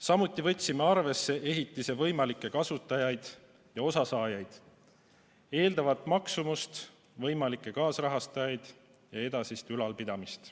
Samuti võtsime arvesse ehitise võimalikke kasutajaid ja sellest osasaajaid, eeldatavat maksumust, võimalikke kaasrahastajaid ja edasist ülalpidamist.